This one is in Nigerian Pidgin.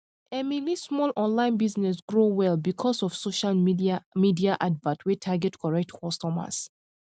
emily small online business grow well because of social media advert wey target correct customers